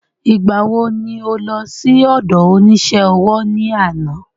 Ìgbà wo ni o lọ sí ọdọ onísé ọwọ́ ní àná?